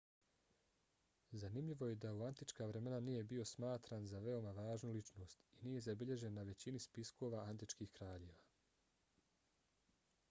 zanimljivo je da u antička vremena nije bio smatran za veoma važnu ličnost i nije zabilježen na većini spiskova antičkih kraljeva